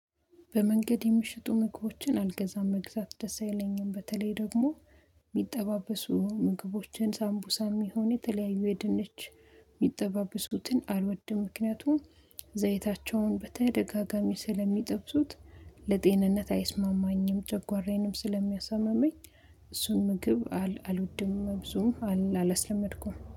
በመንገድ የምትሸጡ ምግቦችን አልገዛም መግዛት ደስ አይለኝም። በተለይ ደግሞ የሚጠባበሱ ምግቦችን ሳምቡሳም የሚሆን የተለያዩ የድንች የሚጠባበሱትን አልወድም። ምክንያቱም ዘይታቸውን በተደጋጋሚ ስለሚጠብሱት ለጤንነት አይስማማኝም ጨጓራዬንም ስለሚያሳምመኝ። እሱን ምግብ አልወድም መብዙም አላስለመድኩም